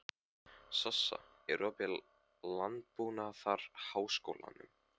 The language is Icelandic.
Sossa, er opið í Landbúnaðarháskólanum?